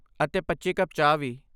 ਅਤੇ ਪੱਚੀ ਕੱਪ ਚਾਹ ਵੀ